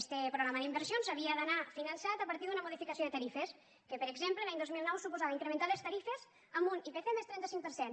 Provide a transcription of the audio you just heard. este programa d’inversions havia d’anar finançat a partir d’una modificació de tarifes que per exemple l’any dos mil nou suposava incrementar les tarifes amb un ipc més trenta cinc per cent